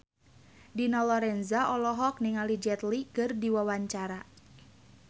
Dina Lorenza olohok ningali Jet Li keur diwawancara